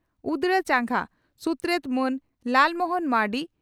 ᱩᱫᱽᱲᱟ ᱪᱟᱸᱜᱟ ᱥᱩᱛᱨᱮᱛ ᱢᱟᱱ ᱞᱟᱞ ᱢᱚᱦᱚᱱ ᱢᱟᱨᱱᱰᱤ